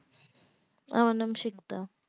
আমার নাম সিকদা